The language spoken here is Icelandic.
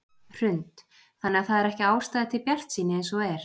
Hrund: Þannig að það er ekki ástæða til bjartsýni eins og er?